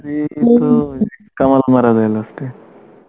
মারা যায় last এ